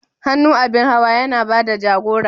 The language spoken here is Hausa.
Hannu abin hawa yana ba da jagora.